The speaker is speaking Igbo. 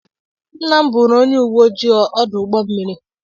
Nna m bụụrụ onye uwe ojii ọdụ ụgbọ mmiri.